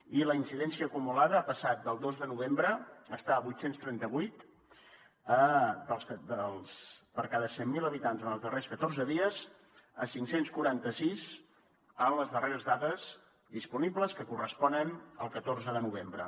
i la incidència acumulada ha passat el dos de novembre d’estar a vuit cents i trenta vuit per cada cent mil habitants ens els darrers catorze dies a cinc cents i quaranta sis en les darreres dades disponibles que corresponen al catorze de novembre